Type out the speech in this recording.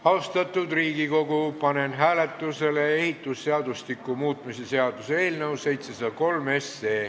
Austatud Riigikogu, panen hääletusele ehitusseadustiku muutmise seaduse eelnõu 703.